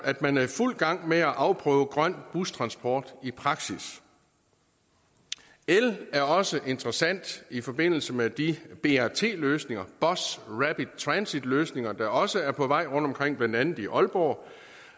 at man er i fuld gang med at afprøve grøn bustransport i praksis el er også interessant i forbindelse med de brt løsninger bus rapid transit løsninger der også er på vej rundtomkring blandt andet i aalborg